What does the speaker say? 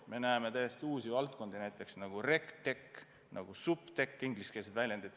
Me näeme täiesti uusi valdkondi, nagu RegTech või SupTech, mis on ingliskeelsed väljendid.